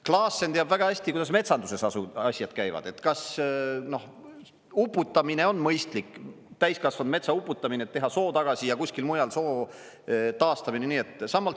Klaassen teab väga hästi, kuidas metsanduses asjad käivad, kas uputamine on mõistlik, täiskasvanud metsa uputamine, et teha soo tagasi, ja kuskil mujal soo taastamine.